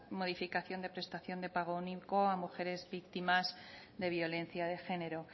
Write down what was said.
modificación de prestación de pago único a mujeres víctimas de violencia de género